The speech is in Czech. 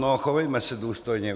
No, chovejme se důstojně.